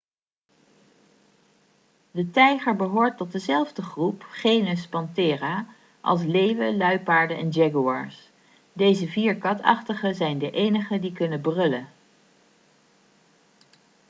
de tijger behoort tot dezelfde groep genus panthera als leeuwen luipaarden en jaguars. deze vier katachtigen zijn de enigen die kunnen brullen